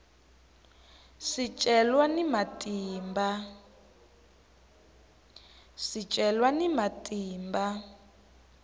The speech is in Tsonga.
swicelwa ni matimba